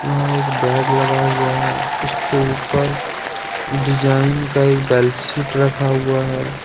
यहां एक बेड लगा हुआ है उसके ऊपर डिजाइन का एक बेल शीट रखा हुआ है।